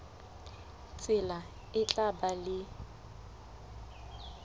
tsela e tla ba le